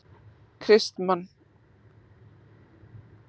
Kristmann